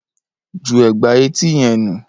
Ju ègbà etí yẹn nù